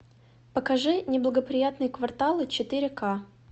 покажи неблагоприятные кварталы четыре ка